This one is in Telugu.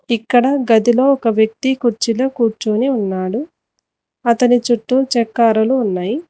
ఇక్కడ గదిలో ఒక వ్యక్తి కుర్చీలో కూర్చొని ఉన్నాడు అతని చుట్టూ చెక్క అరలు ఉన్నాయి.